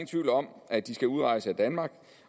tvivl om at de skal udrejse af danmark